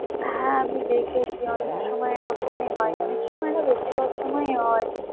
হ্যাঁ আমি দেখেছি অনেক সময় এরকমই হয় অনেক সময় না বেশির ভাগ সময়ই হয়।